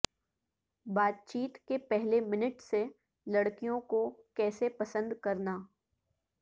بات چیت کے پہلے منٹ سے لڑکیوں کو کیسے پسند کرنا